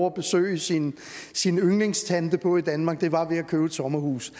at besøge sin sin yndlingstante på i danmark var ved at købe et sommerhus